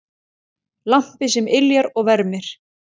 Lampi sem yljar og vermir.